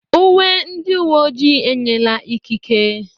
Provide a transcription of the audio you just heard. Uwe ndị uwe ojii enyela ikike.